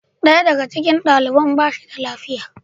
Daya daga cikin daliban ba shi da lafiya.